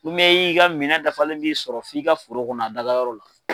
i ka minɛn dafalen b'i sɔrɔ f'i ka foro kɔnɔ a dagayɔrɔ la.